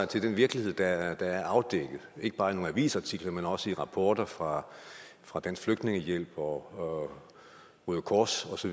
til den virkelighed der er afdækket ikke bare i nogle avisartikler men også i rapporter fra fra dansk flygtningehjælp og røde kors osv